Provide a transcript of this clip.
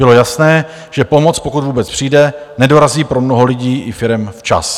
Bylo jasné, že pomoc, pokud vůbec přijde, nedorazí pro mnoho lidí i firem včas.